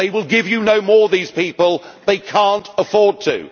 it. They will give you no more, these people they cannot afford